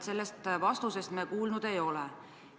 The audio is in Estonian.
Sellest vastusest me kuulnud ei ole.